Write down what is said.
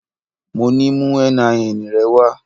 Mo ní mú NIN rẹ wá.